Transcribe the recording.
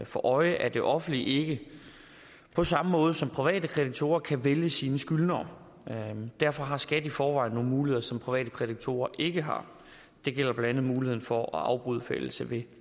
for øje at det offentlige ikke på samme måde som private kreditorer kan vælge sine skyldnere derfor har skat i forvejen nogle muligheder som private kreditorer ikke har det gælder blandt andet muligheden for at afbryde forældelse ved